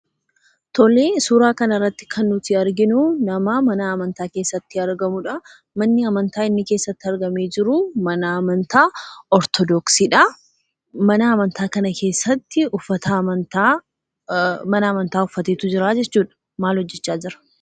Tole, suuraa kana irratti kan nuti arginu, nama mana amantaa keessatti argamuudha. Manni amantaa inni keessatti argamee jiru mana amantaa Ortodoksiidha. Mana amantaa kana keessatti uffata mana amantaa uffatee jira jechuudha. Maal hojjechaa jira?